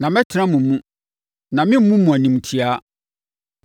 Na mɛtena mo mu, na meremmu mo animtiaa.